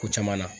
Ko caman na